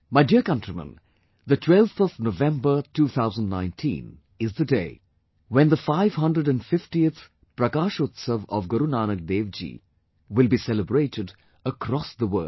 My dear countrymen, the 12th of November, 2019 is the day when the 550th Prakashotsav of Guru Nanak dev ji will be celebrated across the world